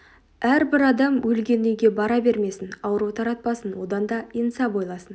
әрбір адам өлген үйге бара бермесін ауру таратпасын одан да инсап ойласын